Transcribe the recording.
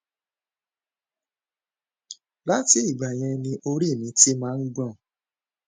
láti ìgbà yẹn ni orí mi ti máa ń gbọn